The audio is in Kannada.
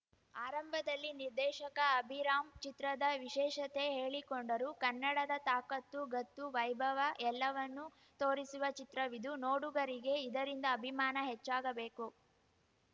ಆರಂಭದಲ್ಲಿ ನಿರ್ದೇಶಕ ಅಭಿರಾಮ್‌ ಚಿತ್ರದ ವಿಶೇಷತೆ ಹೇಳಿಕೊಂಡರು ಕನ್ನಡದ ತಾಕತ್ತು ಗತ್ತು ವೈಭವ ಎಲ್ಲವನ್ನು ತೋರಿಸುವ ಚಿತ್ರವಿದು ನೋಡುಗರಿಗೆ ಇದರಿಂದ ಅಭಿಮಾನ ಹೆಚ್ಚಾಗಬೇಕು